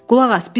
Qulaq as!